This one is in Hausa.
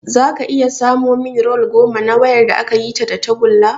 Zaka iya samo min rol goma na wayar da akayi ta da tagulla?